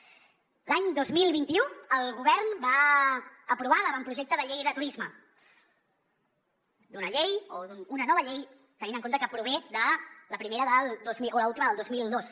l’any dos mil vint u el govern va aprovar l’avantprojecte de llei de turisme d’una llei o d’una nova llei tenint en compte que prové l’última del dos mil dos